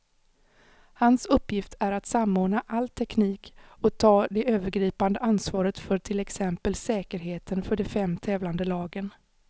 Hans uppgift är att samordna all teknik och ta det övergripande ansvaret för till exempel säkerheten för de fem tävlande lagen.